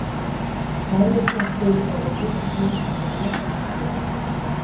Hærusveppir eru litlir eða meðalstórir sveppir.